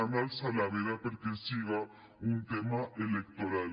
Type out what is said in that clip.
han alçat la veda perquè siga un tema electoral